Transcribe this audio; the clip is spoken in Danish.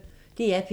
DR P1